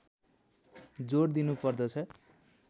जोड दिनुपर्दछ